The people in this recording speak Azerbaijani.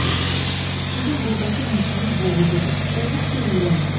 Sizin burdakı mühitiniz boğucudur, olduqca iyrəncdir.